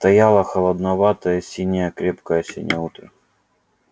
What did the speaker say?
стояло холодноватое синее крепкое осеннее утро